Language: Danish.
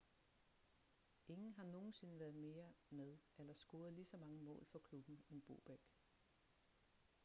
ingen har nogensinde været mere med eller scoret ligeså mange mål for klubben end bobek